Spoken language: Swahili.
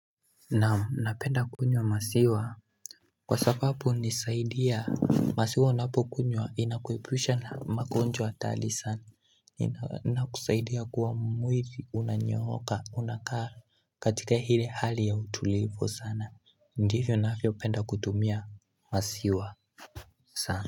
Na napenda kunywa maziwa Kwa sababu unisaidia maziwa unapukunywa inakuebusha na magonjwa hatari sana inakusaidia kuwa mwili unanyoka unakaa katika hili hali ya utulivu sana Ndivyo navyo penda kutumia maziwa sana.